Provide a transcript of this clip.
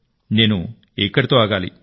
నేను ఇక్కడితో ఆగాలి